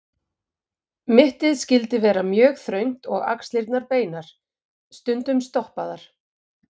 Mittið skyldi vera mjög þröngt og axlirnar beinar, stundum stoppaðar.